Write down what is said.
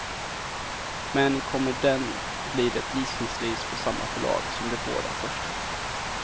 Men kommer den blir det gissningsvis på samma förlag som de båda första.